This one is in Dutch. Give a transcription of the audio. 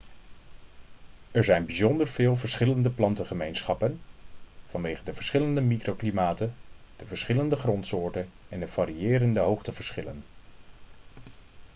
er zijn bijzonder veel verschillende plantengemeenschappen vanwege de verschillende microklimaten de verschillende grondsoorten en de variërende hoogteverschillen